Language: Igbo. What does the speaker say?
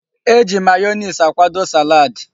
E ji mayonees akwado salaadi.